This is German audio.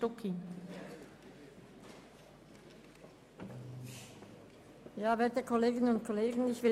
Kommissionssprecherin der FiKo-Minderheit.